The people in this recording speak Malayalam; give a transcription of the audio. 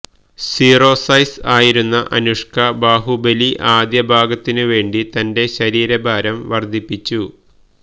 സീറോ സൈസ് ആയിരുന്ന ആനുഷ്ക ബാഹുബലി ആദ്യ ഭാഗത്തിനും വേണ്ടി തന്റെ ശരീര ഭാരം വർധിപ്പിച്ചു